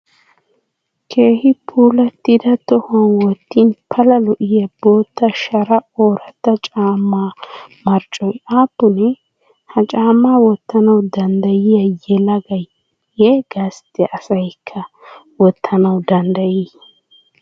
Keehi puulattida tohuwan wotin pala lo'iya bootta shara ooratta caammaa marccoy aappunee? Ha caammaa wottanawu danddayiyay yelagayiyye gastta asayikka wottanawu danddayii?